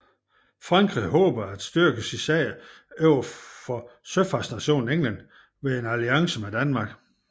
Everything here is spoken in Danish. Frankrig håbede at styrke sin sag overfor søfartsnationen England ved en alliance med Danmark